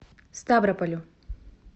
ставрополю